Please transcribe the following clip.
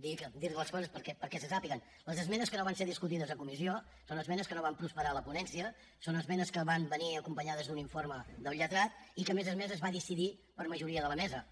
dir li les coses perquè se sàpiguen les esmenes que no van ser discutides a comissió són esmenes que no van prosperar a la ponència són esmenes que van venir acompanyades d’un informe del lletrat i que a més a més es va decidir per majoria de la mesa